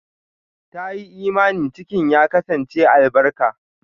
Ta yi imani cikin ya kasance albarka.